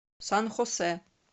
сан хосе